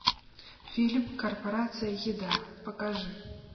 фильм корпорация еда покажи